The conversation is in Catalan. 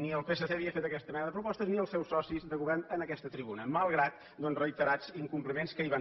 ni el psc havia fet aquesta mena de propostes ni els seus socis de govern en aquesta tribuna malgrat doncs reiterats incompliments que hi van ser